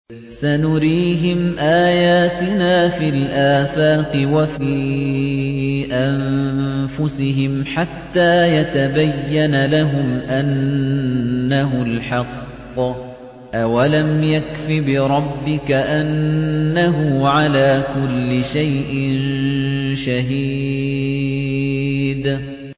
سَنُرِيهِمْ آيَاتِنَا فِي الْآفَاقِ وَفِي أَنفُسِهِمْ حَتَّىٰ يَتَبَيَّنَ لَهُمْ أَنَّهُ الْحَقُّ ۗ أَوَلَمْ يَكْفِ بِرَبِّكَ أَنَّهُ عَلَىٰ كُلِّ شَيْءٍ شَهِيدٌ